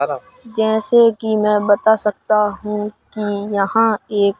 जैसे की मैं बता सकता हूं कि यहां एक--